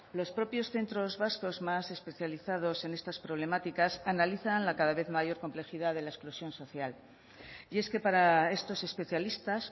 los propios centros vascos más especializados en estas problemáticas analizan la cada vez mayor complejidad de la exclusión social y es que para estos especialistas